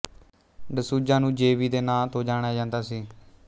ਡਸੂਜਾ ਨੂੰ J B ਦੇ ਨਾਂ ਤੋਂ ਜਾਣਿਆ ਜਾਂਦਾ ਸੀ